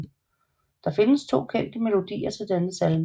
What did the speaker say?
Der findes 2 kendte melodier til denne salme